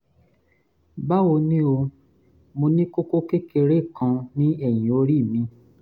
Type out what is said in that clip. báwo ni o? mo ní kókó kékeré kan ní ẹ̀yìn orí mi